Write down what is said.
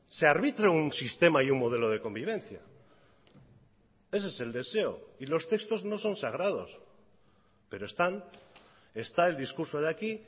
se arbitre un sistema y un modelo de convivencia ese es el deseo y los textos no son sagrados pero están está el discurso de aquí